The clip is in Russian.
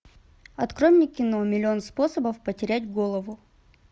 открой мне кино миллион способов потерять голову